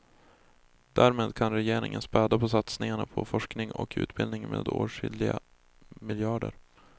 Därmed kan regeringen späda på satsningarna på forskning och utbildning med åtskilliga miljarder.